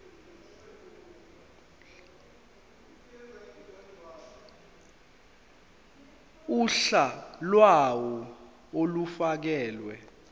uhla lawo olufakelwe